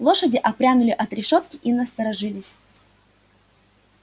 лошади отпрянули от решётки и насторожились